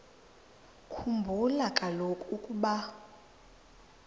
khumbula kaloku ukuba